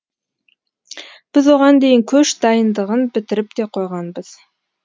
біз оған дейін көш дайындығын бітіріп те қойғанбыз